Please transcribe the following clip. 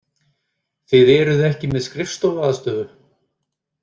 Þið eruð ekki með skrifstofuaðstöðu?